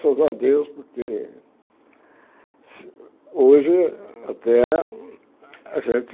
Graças a Deus, porque hoje até a gente...